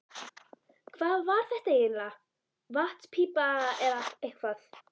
Hvað var þetta eiginlega, vatnspípa eða eitthvað?